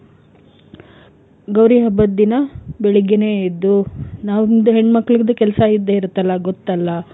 ಗೌರಿ ಹಬ್ಬದ್ ದಿನ ಬೆಳಿಗ್ಗೆನೇ ಎದ್ದು ನಮ್ದು ಹೆಣ್ ಮಕ್ಲಿದ್ದು ಕೆಲ್ಸ ಇದ್ದೆ ಇರುತ್ತಲ್ಲ ಗೊತ್ತಲ್ಲ.